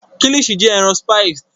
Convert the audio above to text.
Kilichi jẹ ẹran spiced